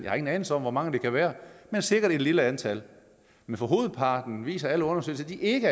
har ingen anelse om hvor mange det kan være men sikkert et lille antal men hovedparten det viser alle undersøgelser er ikke